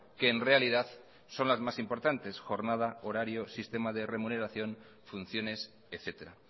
que en realidad son las más importantes jornada horario sistema de remuneración funciones etcétera